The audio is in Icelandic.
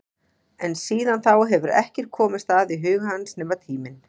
En síðan þá hefur ekkert komist að í huga hans nema tíminn.